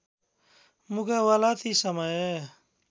मुकाबला ती समय